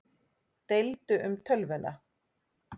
Deildu um tölvuna